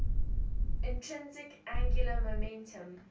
intrinsic angular momentum